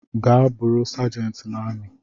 Gaa bụrụi sergent na ami!